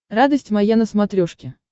радость моя на смотрешке